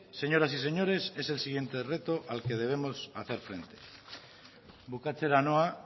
señoras y señores es el siguiente reto al que debemos hacer frente bukatzera noa